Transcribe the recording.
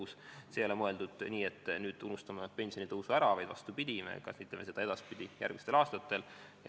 See ei ole mõeldud nii, et nüüd unustame pensionitõusu ära, vastupidi, me seda järgmistel aastatel kasvatame.